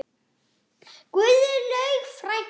Guðlaug frænka.